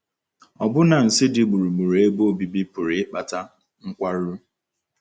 Ọbụna nsí dị gburugburu ebe obibi pụrụ ịkpata nkwarụ.